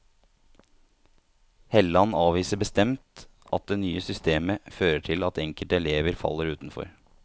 Helland avviser bestemt at det nye systemet fører til at enkelte elever faller utenfor.